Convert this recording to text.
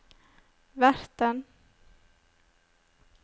verten